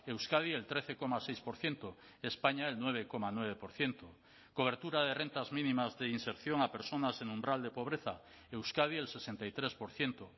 euskadi el trece coma seis por ciento españa el nueve coma nueve por ciento cobertura de rentas mínimas de inserción a personas en umbral de pobreza euskadi el sesenta y tres por ciento